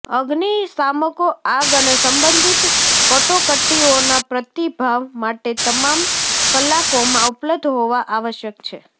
અગ્નિશામકો આગ અને સંબંધિત કટોકટીઓના પ્રતિભાવ માટે તમામ કલાકોમાં ઉપલબ્ધ હોવા આવશ્યક છે